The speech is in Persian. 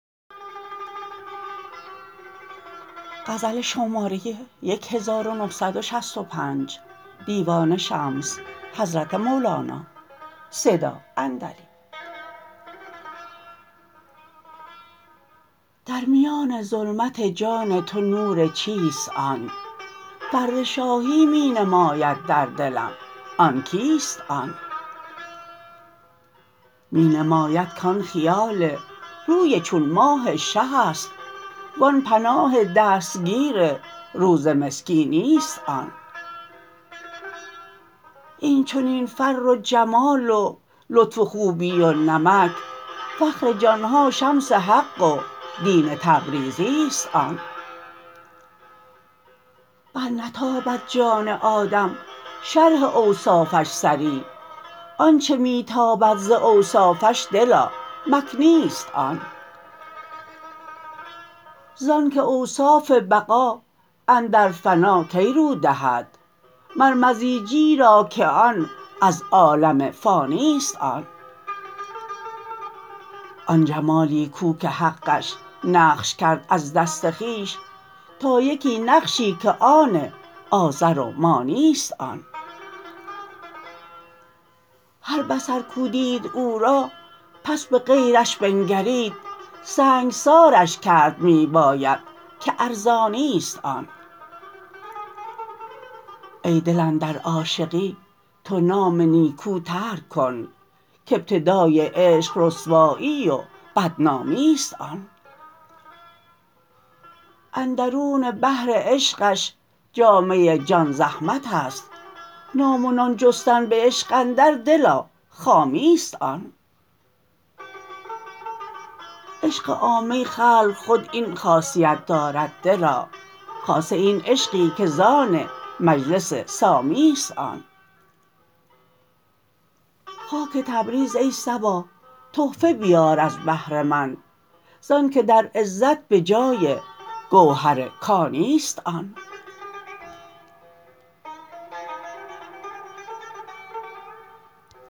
در میان ظلمت جان تو نور چیست آن فر شاهی می نماید در دلم آن کیست آن می نماید کان خیال روی چون ماه شه است وان پناه دستگیر روز مسکینی است آن این چنین فر و جمال و لطف و خوبی و نمک فخر جان ها شمس حق و دین تبریزی است آن برنتابد جان آدم شرح اوصافش صریح آنچ می تابد ز اوصافش دلا مکنی است آن زانک اوصاف بقا اندر فنا کی رو دهد مر مزیجی را که آن از عالم فانی است آن آن جمالی کو که حقش نقش کرد از دست خویش یا یکی نقشی که آن آذر و مانی است آن هر بصر کو دید او را پس به غیرش بنگرید سنگسارش کرد می باید که ارزانی است آن ای دل اندر عاشقی تو نام نیکو ترک کن کابتدای عشق رسوایی و بدنامی است آن اندرون بحر عشقش جامه جان زحمت است نام و نان جستن به عشق اندر دلا خامی است آن عشق عامه خلق خود این خاصیت دارد دلا خاصه این عشقی که زان مجلس سامی است آن خاک تبریز ای صبا تحفه بیار از بهر من زانک در عزت به جای گوهر کانی است آن